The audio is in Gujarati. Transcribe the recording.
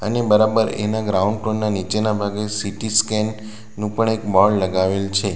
ને બરાબર એના ગ્રાઉન્ડ પરના નીચેના ભાગે સી_ટી સ્કેન નું પણ એક બોર્ડ લગાવેલ છે.